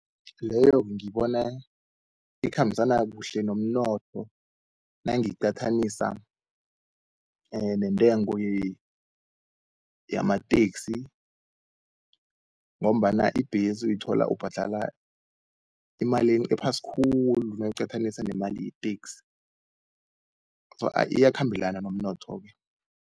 Leyo-ke ngiyibona ikhambisana kuhle nomnotho nangiyiqathanisa nentengo yamateksi, ngombana ibhesi uyithola ubhadala imali ephasi khulu nawuyiqathaniswa nemali yeteksi iyakhambelana nomnotho-ke.